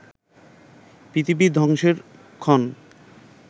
পৃথিবী ধ্বংসের ক্ষণ